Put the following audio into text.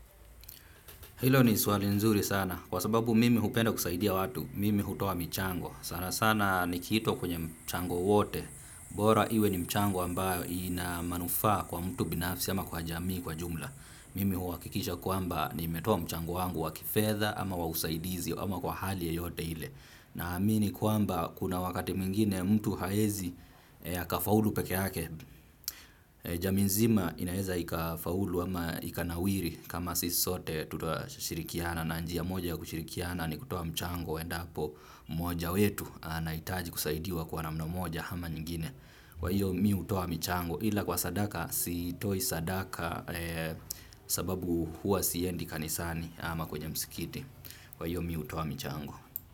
Hilo ni swali nzuri sana, kwa sababu mimi hupenda kusaidia watu, mimi hutoa michango. Sana sana nikitwa kwenye mchango wote, bora iwe ni mchango ambayo inamanufa kwa mtu binafsi ama kwa jamii kwa jumla. Mimi huwakikisha kuamba nimetoa mchango wangu wakifedha ama wa usaidizi ama kwa hali yeyote ile. Na amini kuamba kuna wakati mingine mtu haezi hakafaulu peke yake. Jami nzima inaeza ikafaulu ama ikanawiri kama sisi sote tutashirikiana na njia moja ya kushirikiana ni kutoa mchango. Endapo moja wetu anaitaji kusaidiwa kwa namna moja hama nyingine. Kwa hiyo mi utoa mchango ila kwa sadaka sitoi sadaka sababu hua siyendi kanisani ama kwenye msikiti. Kwa hiyo mi utoa mchango.